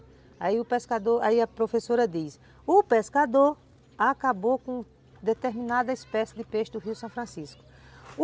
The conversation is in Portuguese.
Aí o pescador, aí a professora diz, o pescador acabou com determinada espécie de peixe do rio São Francisco.